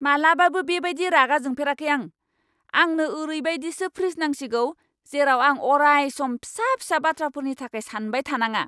मालाबाबो बे बायदि रागा जोंफेराखै आं! आंनो ओरैबायदिसो फ्रिज नांसिगौ जेराव आं अराय सम फिसा फिसा बाथ्राफोरनि थाखाय सानबाय थानाङा!